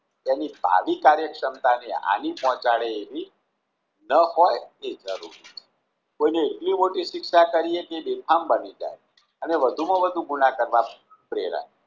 તેની ભાવિ કાર્યસક્ષમતા ને હાનિ પોંહચાડે એવી ન હોય તે જરૂરી કોઈ ને એટલી મોટી શિક્ષા કરીએ કે બેફામ બની જાય અને વધુ માં વધુ ગુણ કરવા પ્રેરાય